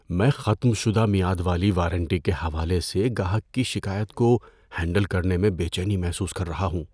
میں ختم شدہ میعاد والی وارنٹی کے حوالے سے گاہک کی شکایت کو ہینڈل کرنے میں بے چینی محسوس کر رہا ہوں۔